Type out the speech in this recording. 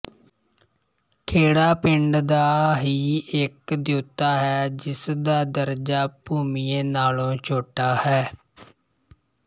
ਖੇੜਾ ਪਿੰਡ ਦਾ ਹੀ ਇੱਕ ਦਿਉਤਾ ਹੈ ਜਿਸਦਾ ਦਰਜਾ ਭੂੰਮੀਏ ਨਾਲੋਂ ਛੋਟਾ ਹੈ